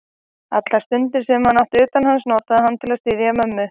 Allar stundir, sem hann átti utan hans, notaði hann til að styðja mömmu.